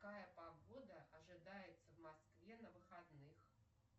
какая погода ожидается в москве на выходных